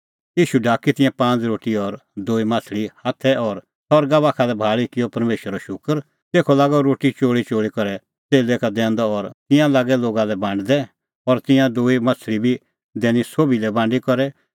ईशू ढाकी तिंयां पांज़ रोटी और दूई माह्छ़ली हाथै और सरगा बाखा लै भाल़ी किअ परमेशरो शूकर तेखअ लागअ रोटी चोल़ीचोल़ी करै च़ेल्लै का दैंदअ और तिंयां लागै लोगा लै बांडदै और तिंयां दूई माह्छ़ली बी दैनी सोभी लै बांडी करै